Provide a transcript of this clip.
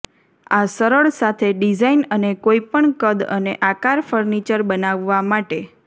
આ સરળ સાથે ડિઝાઇન અને કોઈપણ કદ અને આકાર ફર્નિચર બનાવવા માટે